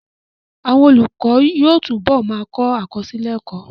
Àwọn olùkọ́ yóò túbọ̀ ma kọ àkọsílẹ̀ ẹ́kọ́